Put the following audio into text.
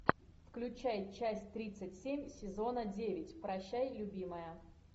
включай часть тридцать семь сезона девять прощай любимая